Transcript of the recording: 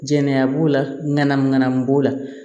Jɛnɛya b'o la ŋanamu ŋanamu b'o la